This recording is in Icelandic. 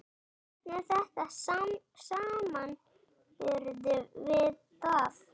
Hvernig er þetta í samanburði við það?